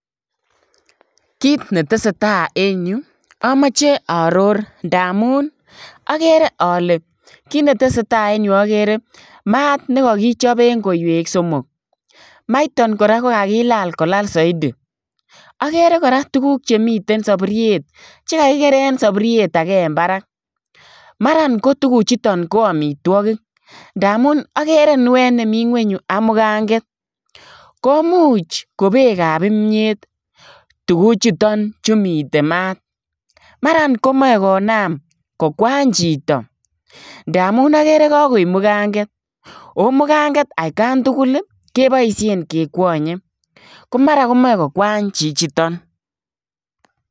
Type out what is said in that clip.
Kiit ne tesetai en Yuu amache aaoror ndamuun agere ale kiit ne tesetai en Yuu agere maat nekakichaapeen koiweek somok maitaan ii kora ko kakilaal kolaal zaidi agere kora tuguuk chekakilaal en saburuiet che kakikereen saburuiet agei en barak mara ko tuguuk chutoon ii ko amitwagiik ndamuun agere kinuet nemii kweny Yuu ak mukangeet komuuch ko beek ab kimyeet tuguuk chutoon chu miten maat maran komae konam kokwaany chitoo ndamuun agere kagoin mukangeet ooh mukangeet at kaan tugul ii kebaisheen kekwanye ko mara ko machei ko kwaany chichitoon.